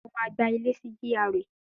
Mo máa gba ilé sí GRA